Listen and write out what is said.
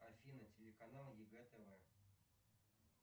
афина телеканал егэ тв